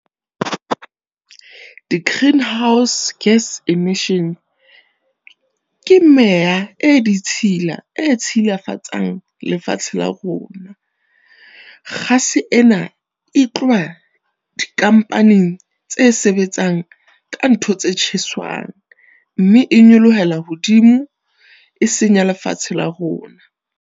Di-greenhouse gas emissions ke meya e ditshila e tshilafatsang lefatshe la rona. Gas-e ena e tloba di-company tse sebetsang ka ntho tse tjheswang, mme e nyolohelang hodimo e senya lefatshe la rona.